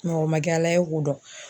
Mɔgɔ ma kɛ Ala ye k'o dɔn.